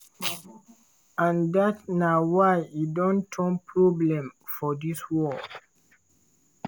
and dat na why e don turn problem for dis war.